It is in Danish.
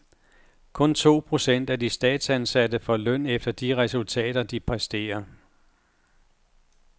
Kun to procent af de statsansatte får løn efter de resultater, de præsterer.